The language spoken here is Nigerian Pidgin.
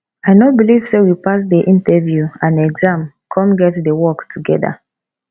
i no believe say we pass the interview and exam come get the work together